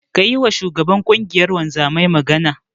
Ka yiwa shugaban ƙungiyar wanzaman magana.